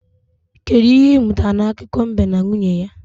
Kedụ ihe ị mụtara n'akụkọ mbe na nwunye ya?